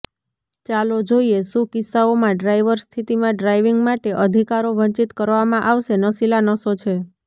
ચાલો જોઈએ શું કિસ્સાઓમાં ડ્રાઈવર સ્થિતિમાં ડ્રાઇવિંગ માટે અધિકારો વંચિત કરવામાં આવશે નશીલા નશો છે